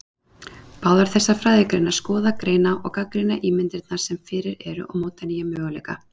Báðar þessar fræðigreinar skoða, greina og gagnrýna ímyndirnar sem fyrir eru og móta nýja möguleika.